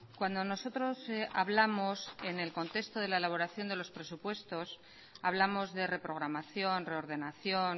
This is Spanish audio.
cuando nosotros hablamos en el contexto de la elaboración de los presupuestos hablamos de reprogramación reordenación